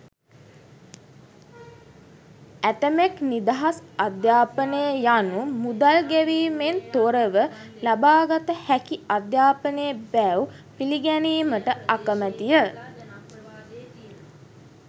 ඇතැමෙක් නිදහස් අධ්‍යාපනය යනු මුදල් ගෙවීමෙන් තොරව ලබාගත හැකි අධ්‍යාපනය බැව් පිළිගැනීමට අකමැතිය.